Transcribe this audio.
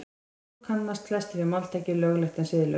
Og svo kannast flestir við máltækið löglegt en siðlaust.